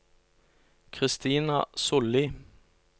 Christina Sollie